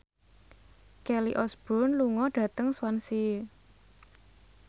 Kelly Osbourne lunga dhateng Swansea